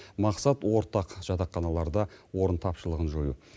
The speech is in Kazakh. мақсат ортақ жатақханаларда орын тапшылығын жою